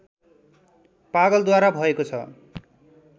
पागलद्वारा भएको छ